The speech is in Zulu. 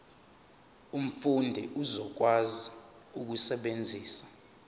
umfundi uzokwazi ukusebenzisa